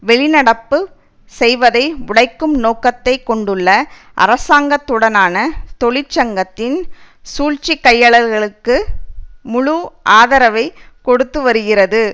வெளிநடப்பு செய்வதை உடைக்கும் நோக்கத்தை கொண்டுள்ள அரசாங்கத்துடனான தொழிற்சங்கத்தின் சூழ்ச்சிக்கையளல்களுக்கு முழு ஆதரவைக் கொடுத்து வருகிறது